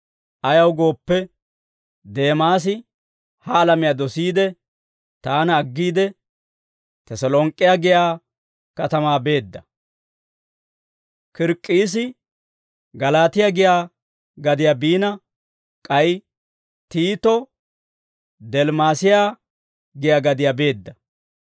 Ayaw gooppe, Deemaasi ha alamiyaa dosiide, taana aggiide, Teselonk'k'e giyaa katamaa beedda. K'erk'k'iisi Galaatiyaa giyaa gadiyaa biina, k'ay Tiito Dilmaas'iyaa giyaa gadiyaa beedda.